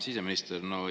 Hea siseminister!